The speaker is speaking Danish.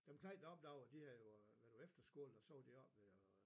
Dem knejt deroppe derovre de havde jo været på efterskole og så var de oppe ved øh